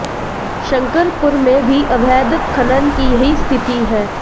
शंकरपुर में भी अवैध खनन की यही स्थिति है